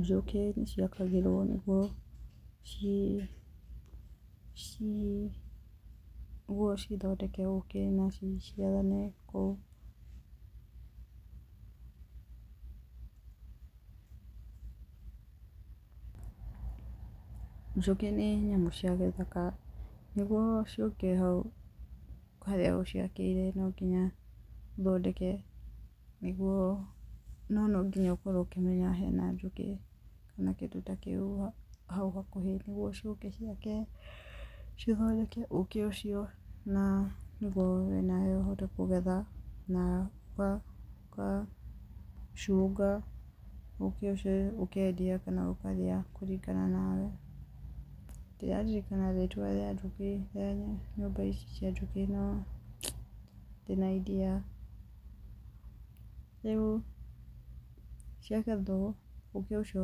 Njũkĩ nĩ ciakagĩrwo nĩguo cithondeke ũkĩ na ciciarane. Njũkĩ nĩ nyamũ cia gĩthaka na nĩguo ciũke hau harĩa ũciakĩire, nonginya ũthondeke, no nonginya ũkorwo ũkĩmenya hena njũkĩ kana kĩndũ ta kĩu hau hakuhĩ nĩguo ciũke ciake, cithondeke ũkĩ ũcio na nĩguo we na we ũhote kũgetha, na ũgacunga ũkĩ ũcio ũkendia kana ũkarĩa kũringana nawe, rĩu ciagethwo, ũkĩ ũcio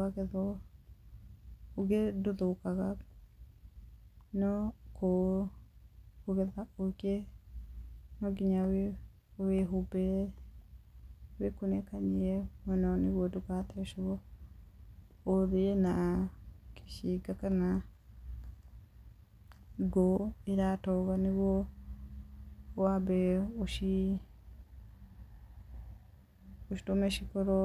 wagethwo, ũkĩ ndũthũkaga no kũgetha ũkĩ nonginya wĩhumbĩre, wĩkunĩkanie mũno nĩguo ndũgathecwo ũthĩe na gĩcinga kana ngũ iratoga nĩguo wambe ũtũme cikorwo